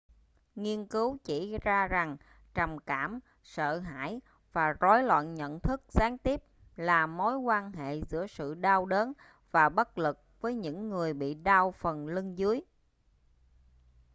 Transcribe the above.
nghiên cứu chỉ ra rằng trầm cảm sợ hãi và rối loạn nhận thức gián tiếp là mối quan hệ giữa sự đau đớn và bất lực với những người bị đau phần lưng dưới